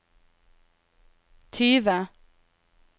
tyve